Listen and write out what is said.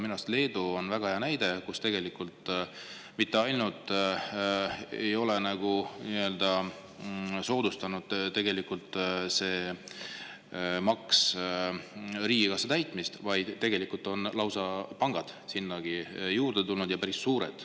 Minu arust on väga hea näide Leedu, kus see maks ei ole mitte ainult soodustanud riigikassa täitmist, vaid tegelikult on sinna panku lausa juurde tulnud, ja päris suuri.